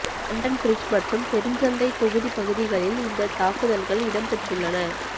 London bridge மற்றும் Borough சந்தைத் தொகுதி பகுதிகளில் இந்த தாக்குதல்கள் இடம்பெற்றுள்ளன